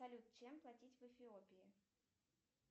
салют чем платить в эфиопии